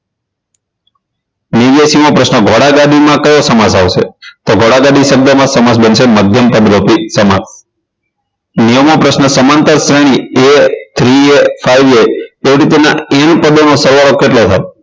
નેવ્યાશી મો પ્રશ્ન ઘોડાગાડી માં કયો સમાસ આવશે તો ઘોડાગાડી શબ્દમાં સમાસ બનશે મધ્યમપદ રૂપી સમાસ નેવું મો પ્રશ્ન સમાંતર શ્રેણી a three a five a તે રીતેના m પદોનો સરવાળો કેટલો થાય